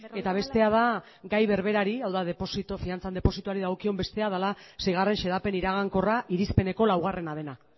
eta bestea da gai berberari hau da fidantzan depositoari dagokion bestea dela seigarren xedapen iragankorra irizpeneko laugarrena dena